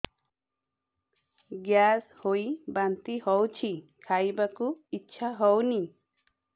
gas ହୋଇ ବାନ୍ତି ହଉଛି ଖାଇବାକୁ ଇଚ୍ଛା ହଉନି